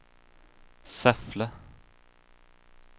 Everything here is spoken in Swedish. Säffle